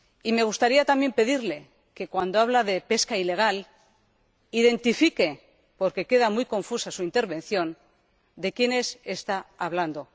Me gustaría, también, pedirle que, cuando hable de pesca ilegal, diga —porque queda muy confusa su intervención— de quiénes está hablando.